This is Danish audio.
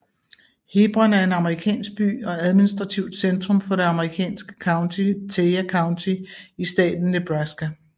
Hebron er en amerikansk by og administrativt centrum for det amerikanske county Thayer County i staten Nebraska